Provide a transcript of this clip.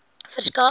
verskaf